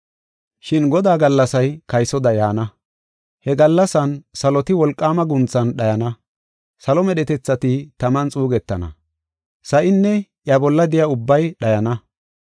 Shin Godaa gallasay kaysoda yaana. He gallasan saloti wolqaama guunthan dhayana; salo medhetethati taman xuugetana; sa7inne iya bolla de7iya ubbay dhayana.